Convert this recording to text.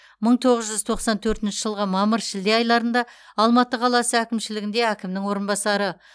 мың тоғыз жүз тоқсан төртінші жылғы мамыр шілде айларында алматы қаласы әкімшілігінде әкімнің орынбасары